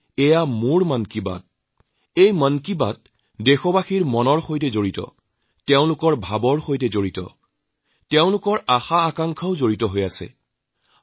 এই মন কী বাত দেশবাসীৰ মন তেওঁলোকৰ ভাৱনা আশাআকাংক্ষাৰ সৈতে সংপৃক্ত